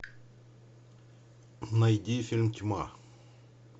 найди фильм тьма